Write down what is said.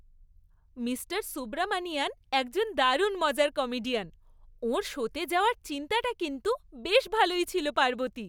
Mister Subramanian একজন দারুণ মজার কমেডিয়ান। ওঁর শোতে যাওয়ার চিন্তাটা কিন্তু বেশ ভালোই ছিল পার্বতী।